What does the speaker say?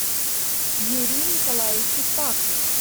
юрию николаевичу паку